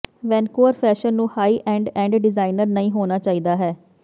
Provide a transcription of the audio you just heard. Vancouver fashion ਨੂੰ high end end designer ਨਹੀਂ ਹੋਣਾ ਚਾਹੀਦਾ ਹੈ